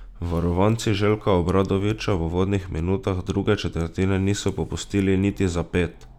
Varovanci Željka Obradovića v uvodnih minutah druge četrtine niso popustili niti za ped.